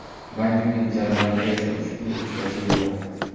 Baydenning jadvalida esa ushbu "uchrashuv" yo‘q.